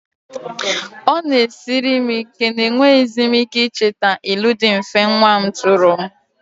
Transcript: It is a challenge to me that I can no longer remember the simple riddles my child threw at me.